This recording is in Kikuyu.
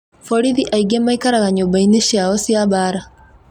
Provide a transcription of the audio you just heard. Borithi aingĩ maikaraga nyũmba-inĩ cio cia mbaara.